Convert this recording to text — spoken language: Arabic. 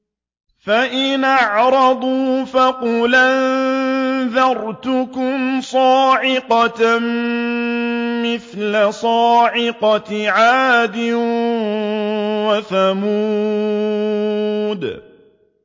فَإِنْ أَعْرَضُوا فَقُلْ أَنذَرْتُكُمْ صَاعِقَةً مِّثْلَ صَاعِقَةِ عَادٍ وَثَمُودَ